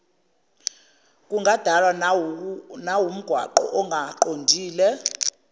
kungadalwa nawumgwaqo ongaqondile